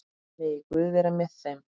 Megi Guð vera með þeim.